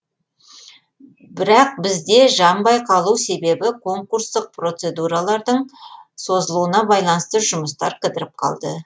бірақ бізде жанбай қалу себебі конкурстық процедуралардың созылуына байланысты жұмыстар кідіріп қалды